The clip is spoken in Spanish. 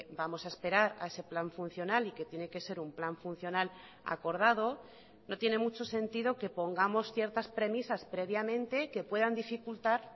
vamos a esperar a ese plan funcional y que tiene que ser un plan funcional acordado no tiene mucho sentido que pongamos ciertas premisas previamente que puedan dificultar